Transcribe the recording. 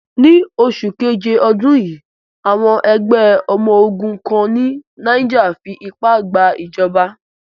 Ní oṣù keje ọdún yìí, àwọn ẹgbẹ ọmọ ogun kan ní Niger fí ipá gba ìjọba.